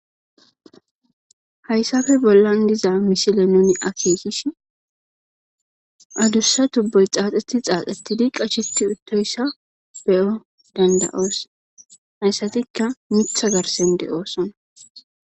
Hayssappe bollan diza misile nuun aakekishin addussa tuuboy xaxetti xaxetti qashetti uuttoyissa beyanaw dandda'os asatikka miiththa garssan de'iossonna